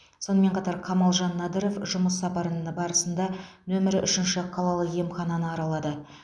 сонымен қатар қамалжан надыров жұмыс сапары барысында нөмір үшінші қалалық емхананы аралады